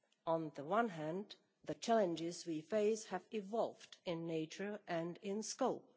On the one hand, the challenges we face have evolved in nature and in scope.